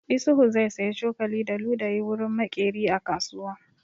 Isuhu zai saya cokali da ludayi wurin maƙeri a kasuwa.